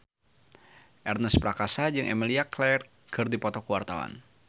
Ernest Prakasa jeung Emilia Clarke keur dipoto ku wartawan